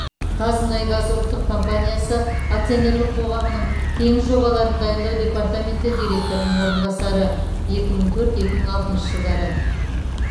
қазмұнайгаз ұлттық компаниясы акционерлік қоғамының теңіз жобаларын дайындау департаменті директорының орынбасары екі мың төрт екі мың алтыншы жылдары